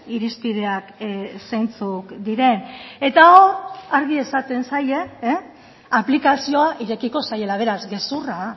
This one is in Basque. irizpideak zeintzuk diren eta argi esaten zaie aplikazioa irekiko zaiela beraz gezurra